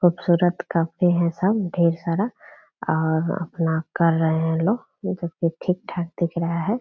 खुबसूरत काफी हैं सब ढेर सारा और अपना कर रहे हैं लोग जोकि ठीक-ठाक दिख रहा है।